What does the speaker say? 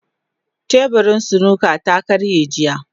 Teburin snooker ta karye jiya.